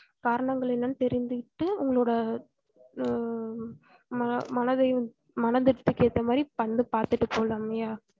காரணங்கள் என்னனு தெரிஞ்சி கிட்டு உங்களோட ஹும் ம~ மனதையும் மனதிற்கு ஏத்தமாரி வந்து பாத்துட்டு போலாம் ஐயா